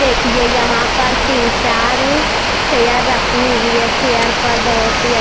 देखिए यहां पर तीन चार चेयर रखी हुई है चेयर पर बहुत ही।